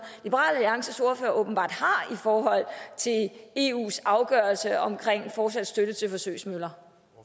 liberal alliances ordfører åbenbart har i forhold til eus afgørelse omkring fortsat støtte til forsøgsmøller